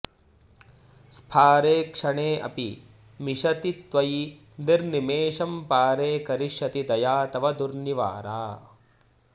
स्फारेक्षणेऽपि मिषति त्वयि निर्निमेषं पारे करिष्यति दया तव दुर्निवारा